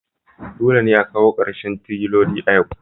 Dole ne a kawo ƙarshen trolling a yau